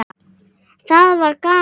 Það verður gaman.